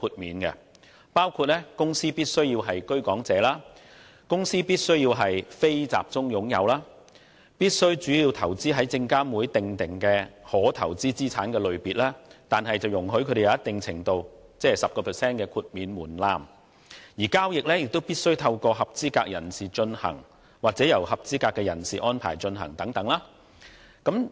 此等條件包括：有關公司必須是居港者；必須為"非集中擁有"；必須主要投資於證券及期貨事務監察委員會訂明的可投資資產類別，但可享有一定程度的靈活性，即 10% 的最低額豁免門檻，以及；交易必須透過合資格人士進行或由合資格人士安排進行等。